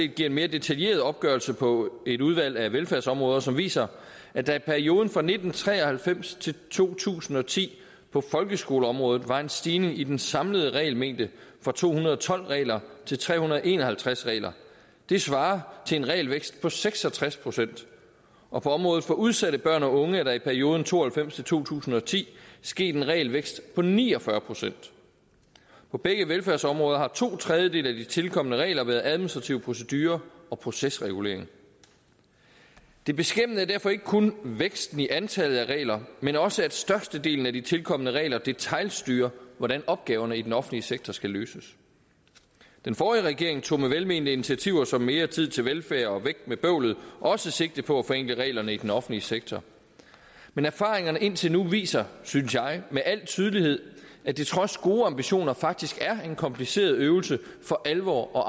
giver en mere detaljeret opgørelse på et udvalg af velfærdsområder som viser at der i perioden fra nitten tre og halvfems til to tusind og ti på folkeskoleområdet var en stigning i den samlede regelmængde fra to hundrede og tolv regler til tre hundrede og en og halvtreds regler det svarer til en regelvækst på seks og tres procent og på området for udsatte børn og unge er der i perioden nitten to og halvfems til to tusind og ti sket en regelvækst på ni og fyrre procent på begge velfærdsområder har to tredjedele af de tilkomne regler været administrative procedurer og procesregulering det beskæmmende er derfor ikke kun væksten i antallet af regler men også at størstedelen af de tilkomne regler detailstyrer hvordan opgaverne i den offentlige sektor skal løses den forrige regering tog med velmenende initiativer som mere tid til velfærd og væk med bøvlet også sigte på at forenkle reglerne i den offentlige sektor men erfaringerne indtil nu viser synes jeg med al tydelighed at det trods gode ambitioner faktisk er en kompliceret øvelse for alvor at